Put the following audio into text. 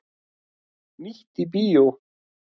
Nýtt í bíó